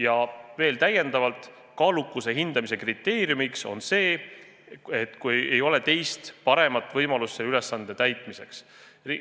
Täiendavalt veel nii palju, et kaalukuse hindamise kriteerium on see, kui ei ole teist, paremat võimalust selle ülesande täitmiseks.